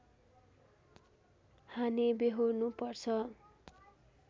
हानि व्यहोर्नुपर्छ